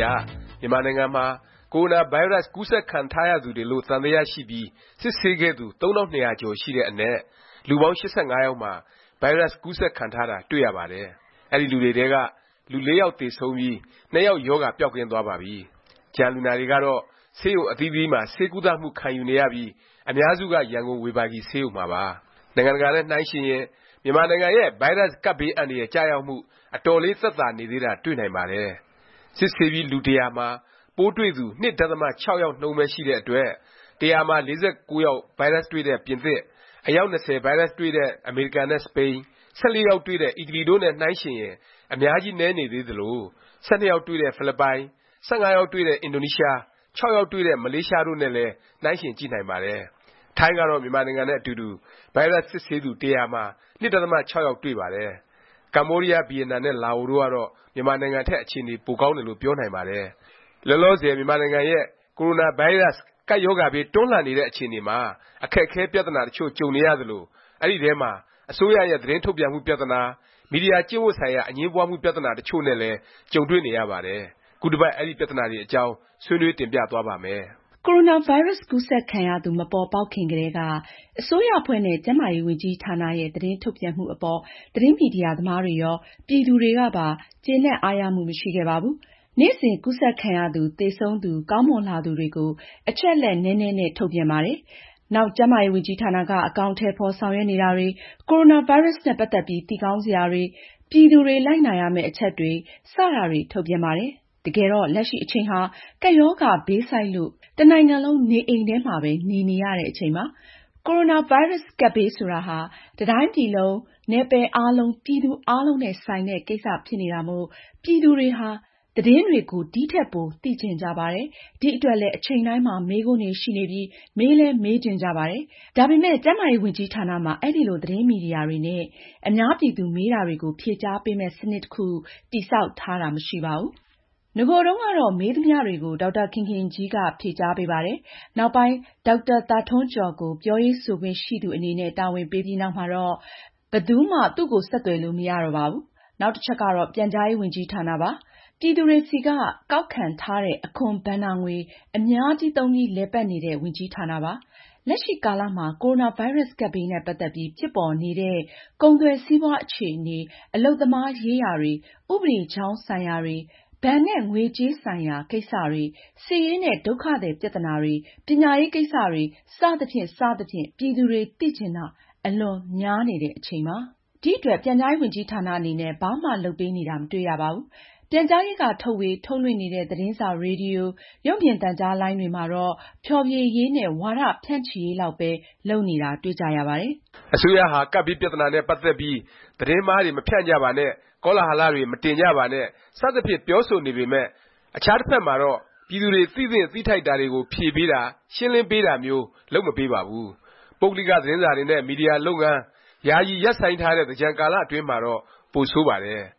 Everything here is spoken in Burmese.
ရ မြန်မာနိုင်ငံမှာ ကိုရိုနာဗိုင်းရပ်စ် ကူးစက်ခံထားရသူတွေလို့ သံသယ ရှိပြီး စစ်ဆေးခဲ့သူ ၃၂၃၆ ယောက် ရှိတဲ့အနက် လူပေါင်း ၈၅ ယောက်မှာ ဗိုင်းရပ်စ် ကူးစက်ခံထားတာ တွေ့ရပါတယ်။ အဲဒီလူတွေထဲက လူ ၄ ယောက် သေဆုံးပြီး ၂ ယောက် ရောဂါ ပျောက်ကင်း သွားပါပြီ။ ကျန်လူနာတွေကတော့ ဆေးရုံအသီးသီးမှာ ဆေးကုသမှု ခံယူနေရပြီး အများစုက ရန်ကုန်ဝေဘာဂီ ဆေးရုံမှာပါ။ နိုင်ငံတကာနဲ့ နှိုင်းယှဉ်ရင် မြန်မာနိုင်ငံရဲ့ ဗိုင်းရပ်စ် ကပ်ဘေး အန္တရာယ် ကျရောက်မှု အတော်လေး သက်သာနေသေးတာ တွေ့နိုင်ပါတယ်။ စစ်ဆေးပြီး လူ ၁၀၀ မှာ ပိုးတွေ့သူ ၂ ဒသမ ၆ ယောက်နှုန်းပဲ ရှိတဲ့အတွက် ၁၀၀ မှာ ၄၉ ယောက် ဗိုင်းရပ်စ်တွေ့တဲ့ ပြင်သစ်၊ အယောက် ၂၀ ဗိုင်းရပ်စ်တွေ့တဲ့ အမေရိကန်နဲ့ စပိန်၊ ၁၄ ယောက် တွေ့တဲ့ အီတလီ တို့နဲ့ နှိုင်းယှဉ်ရင် အများကြီး နည်းနေသလို၊ ၁၂ ယောက်တွေ့တဲ့ ဖိလစ်ပိုင်၊ ၁၅ ယောက်တွေ့တဲ့ အင်ဒိုနီးရှား၊ ၆ ယောက်တွေ့တဲ့ မလေးရှား တို့နဲ့လည်း နှိုင်းယှဉ်ကြည့်နိုင်ပါတယ်။ ထိုင်းကတော့ မြန်မာနိုင်ငံနဲ့ အတူတူ ဗိုင်းရပ်စ် စစ်ဆေးသူ ၁၀၀ မှာ ၂ ဒသမ ၆ ယောက် တွေ့ပါတယ်။ ကမ္ဘောဒီးယား၊ ဗီယက်နမ်နဲ့ လာအိုတို့ကတော့ မြန်မာထက် အခြေအနေ ပိုကောင်းတယ်လို့ ပြောနိုင်ပါတယ်။ လောလောဆယ် မြန်မာနိုင်ငံရဲ့ ကိုရိုနာဗိုင်းရပ်စ် ကပ်ရောဂါဘေး တွန်းလှန်နေတဲ့ အခြေအနေမှာ အခက်အခဲ ပြသနာ တစ်ချို့ ကြုံနေရသလို အဲဒီထဲမှာ အစိုးရရဲ့ သတင်းထုတ်ပြန်မှု ပြသနာ၊ မီဒီယာ ကျင့်ဝတ်ဆိုင်ရာ အငြင်းပွားမှု ပြသနာ တစ်ချို့နဲ့လည်း ကြုံတွေ့နေရပါတယ်။ ခုတစ်ပတ် အဲဒီပြသနာတွေအကြောင်း ဆွေးနွေးတင်ပြသွားပါ့မယ်။ ကိုရိုနာဗိုင်းရပ်စ် ကူးစက်ခံရသူ မပေါ်ပေါက်ခင်ကတည်းက အစိုးရအဖွဲ့နဲ့ ကျန်းမာရေးဝန်ကြီးဌာနရဲ့ သတင်းထုတ်ပြန်မှုအပေါ် သတင်းမီဒီယာ သမားတွေရော၊ ပြည်သူတွေကပါ ကျေနပ်အားရမှု မရှိခဲ့ပါဘူး။ နေ့စဉ် ကူးစက်ခံရသူ၊ သေဆုံးသူ၊ ကောင်းမွန်လာသူတွေကို အချက်အလက် နည်းနည်းနဲ့ ထုတ်ပြန်ပါတယ်။ နောက် ကျန်းမာရေးဝန်ကြီးဌာနက အကောင်အထည် ဖော် ဆောင်ရွက်နေတာတွေ၊ ကိုရိုနာဗိုင်းရပ်စ်နဲ့ ပတ်သက်ပြီး သိကောင်းစရာတွေ၊ ပြည်သူတွေ လိုက်နာရမယ့် အချက်တွေ စတာတွေ ထုတ်ပြန်ပါတယ်။ တကယ်တော့ လက်ရှိအချိန်ဟာ ကပ်ရောဂါဘေးဆိုက်လို့ တစ်နိုင်ငံလုံး နေအိမ်ထဲမှာပဲ နေနေရတဲ့ အချိန်ပါ။ ကိုရိုနာဗိုင်းရပ်စ် ကပ်ဘေး ဆိုတာဟာ တစ်တိုင်းပြည်လုံးက နယ်ပယ်အားလုံး၊ ပြည်သူအားလုံးနဲ့ ဆိုင်တဲ့ ကိစ္စ ဖြစ်နေတာမို့ ပြည်သူတွေဟာ သတင်းတွေကို ဒီထက်ပို သိချင်ကြပါတယ်။ ဒီအတွက်လည်း အချိန်တိုင်းမှာ မေးခွန်းတွေ ရှိနေပြီး မေးလည်းမေးချင်ကြပါတယ်။ ဒါပေမယ့် ကျန်းမာရေးဝန်ကြီးဌာနမှာ အဲလို သတင်းမီဒီယာတွေနဲ့ အများပြည်သူ မေးတာတွေကို ဖြေကြားပေးမယ့် စနစ် တစ်ခု တည်ဆောက်ထားတာ မရှိပါဘူး။ နဂိုတုန်းကတော့ မေးသမျှတွေကို ဒေါက်တာခင်ခင်ကြီးက ဖြေကြားပေးပါတယ်။ နောက်ပိုင်း ဒေါက်တာသာထွန်းကျော်ကို ပြောရေးဆိုခွင့်ရှိသူအနေနဲ့ တာဝန်ပေးပြီးနောက်မှာတော့ ဘယ်သူမှ သူ့ကို ဆက်သွယ်လို့ မရတော့ပါဘူး။ နောက်တစ်ချက်ကတော့ ပြန်ကြားရေး ဝန်ကြီးဌာနပါ။ ပြည်သူတွေဆီက ကောက်ခံထားတဲ့ အခွန်ဘဏ္ဍာငွေ အများကြီးသုံးပြီး လည်ပတ်နေတဲ့ ဝန်ကြီးဌာနပါ။ လက်ရှိ ကာလမှာ ကိုရိုနာဗိုင်းရပ်စ် ကပ်ဘေး နဲ့ ပတ်သက်ပြီး ဖြစ်ပေါ်နေတဲ့ ကုန်သွယ်စီးပွားအခြေအနေ၊ အလုပ်သမားရေးရာတွေ၊ ဥပဒေကြောင်းဆိုင်ရာတွေ၊ ဘဏ်နဲ့ ငွေကြေးဆိုင်ရာ ကိစ္စတွေ၊ စစ်ရေးနဲ့ ဒုက္ခသည် ပြသနာတွေ၊ ပညာရေး ကိစ္စတွေ စသဖြင့် စသဖြင့် ပြည်သူတွေ သိချင်တာ အလွန်များနေတဲ့ အချိန်ပါ။ မရှင်းလင်းတာတွေကိုလည်း မေးချင်နေကြပါတယ်။ ဒီအတွက် ပြန်ကြားရေးဝန်ကြီးဌာန အနေနဲ့ ဘာမှ လုပ်ပေးနေတာ မတွေ့ရပါဘူး။ ပြန်ကြားရေးက ထုတ်ဝေ၊ ထုတ်လွှင့်နေတဲ့ သတင်းစာ၊ ရေဒီယို၊ ရုပ်မြင်သံကြားလိုင်းတွေမှာတော့ ဖျော်ဖြေရေးနဲ့ ဝါဒဖြန့်ချီရေးလောက်ပဲ လုပ်နေတာ တွေ့ကြရပါတယ်။ အစိုးရဟာ ကပ်ဘေး ပြသနာနဲ့ ပတ်သက်ပြီး “သတင်းမှားတွေ မဖြန့်ကြပါနဲ့ ကောလဟလ တွေ မတင်ကြပါနဲ့” စသဖြင့် ပြောဆိုနေပေမယ့် အခြားတစ်ဖက်မှာတော့ ပြည်သူတွေ သိသင့် သိထိုက်တာတွေကို ဖြေပေးတာ၊ ရှင်းလင်းပေးတာမျိုး လုပ်မပေးပါဘူး။ ပုဂ္ဂလိက သတင်းစာတွေနဲ့ မီဒီယာတွေ ယာယီ လုပ်ငန်း ရပ်ဆိုင်းထားတဲ့ သင်္ကြန်ကာလတွင်းမှာတော့ ပိုဆိုးပါတယ်။